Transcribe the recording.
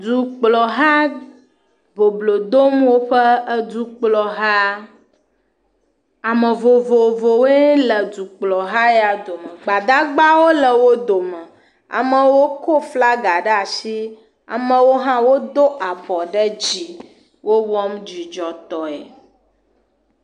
Dukplɔha boblo dom woƒe dukplɔha. Ame vovovowoe le dukplɔha ya dome. Gbadagbawo le wo dome, amewo ko flaga ɖe asi, amewo hã wodo abɔ ɖe dzi. Wowɔm dzidzɔ tɔe.